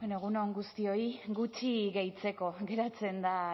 bueno egun on guztioi gutxi gehitzeko geratzen da